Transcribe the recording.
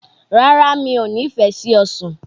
Rárá, mi ò nífẹ̀ẹ́ sí ọsàn.